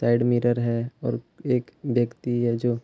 side mirror है और एक व्यक्ति है जो --